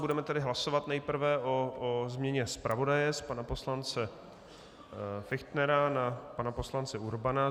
Budeme tedy hlasovat nejprve o změně zpravodaje z pana poslance Fichtnera na pana poslance Urbana.